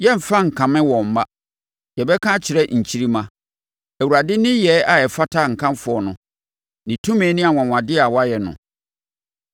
Yɛremfa nkame wɔn mma; yɛbɛka akyerɛ nkyirimma; Awurade nneyɛɛ a ɛfata nkamfo no, ne tumi ne anwanwadeɛ a wayɛ no.